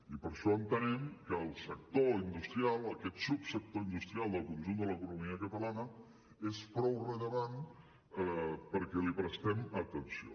i per això entenem que el sector industrial aquest subsector industrial del conjunt de l’economia catalana és prou rellevant perquè li prestem atenció